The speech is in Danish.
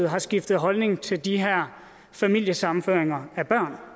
har skiftet holdning til de her familiesammenføringer af børn